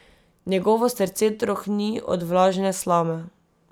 Njegovo srce trohni od vlažne slame.